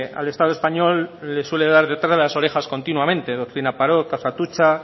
al estado español le suele dar detrás de las orejas continuamente doctrina parot caso atutxa